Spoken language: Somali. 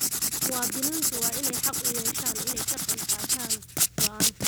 Muwaadiniintu waa inay xaq u yeeshaan inay ka qayb qaataan go'aanka.